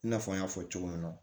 I n'a fɔ n y'a fɔ cogo min na